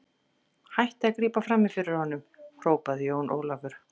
Hættið að grípa framí fyrir honum, hrópaði Jón Ólafur.